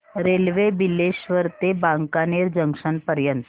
railway Bileshwar ते Wankaner junction पर्यंत